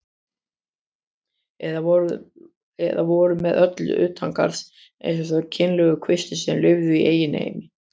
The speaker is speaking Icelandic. Eða voru með öllu utangarðs eins og þeir kynlegu kvistir sem lifðu í eigin heimi.